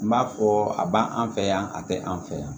N b'a fɔ a b'an fɛ yan a tɛ an fɛ yan